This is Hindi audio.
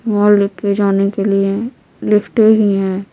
मॉल पे जाने के लिए लिफ्टें ही हैं।